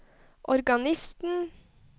organisten